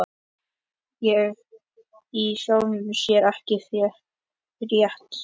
Ég hef í sjálfu sér ekkert frétt.